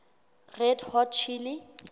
red hot chili